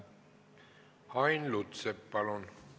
Ain Lutsepp, palun!